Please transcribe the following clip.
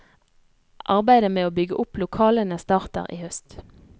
Arbeidet med å bygge opp lokalene starter i høst.